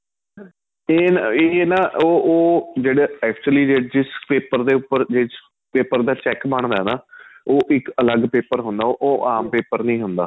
ਤੇ ਏ ਨਾ ਉਹ ਉਹ actually ਜਿਸ paper ਦੇ ਉੱਪਰ ਜਿਸ paper ਦਾ check ਬਣਦਾ ਨਾ ਉਹ ਇੱਕ ਅਲੱਗ paper ਹੁੰਦਾ ਉਹ ਆਂਮ paper ਨਹੀਂ ਹੁੰਦਾ